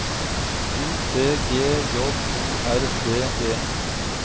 U T G J O R D E